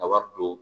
A wari don